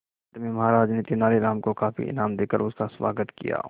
अंत में महाराज ने तेनालीराम को काफी इनाम देकर उसका स्वागत किया